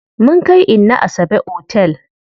Mun kai inna Asabe otel.